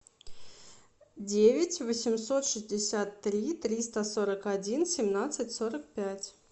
девять восемьсот шестьдесят три триста сорок один семнадцать сорок пять